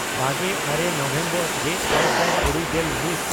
ᱵᱟᱜᱮᱼᱟᱨᱮ November ᱜᱮᱼᱟᱨᱮ ᱥᱟᱭ ᱛᱩᱨᱩᱭᱜᱮᱞ ᱢᱤᱫ